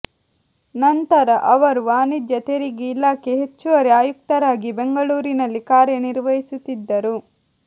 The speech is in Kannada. ನಂತರ ಅವರು ವಾಣಿಜ್ಯ ತೆರಿಗೆ ಇಲಾಖೆ ಹೆಚ್ಚುವರಿ ಆಯುಕ್ತರಾಗಿ ಬೆಂಗಳೂರಿನಲ್ಲಿ ಕಾರ್ಯನಿರ್ವಹಿಸುತ್ತಿದ್ದರು